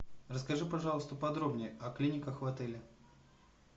расскажи пожалуйста подробнее о клиниках в отеле